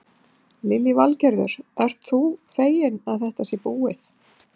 Lillý Valgerður: Ert þú feginn að þetta sé búið?